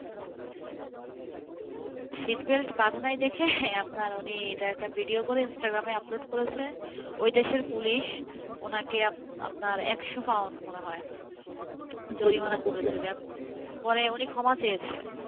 seatbelt বাঁধে নাই দেখে একটা ভিডিও করে ইনস্টাগ্রামে আপলোড করেছে, ও দেশের পুলিশ উনাকে একশো পাউন্ড মনে হয় জরিমানা করেছেপরে উনি ক্ষমাও চেয়েছেন,